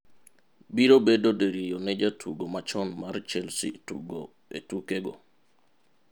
Biro bedo diriyo ne jatugo machon mar Chelsea tugo e tukego.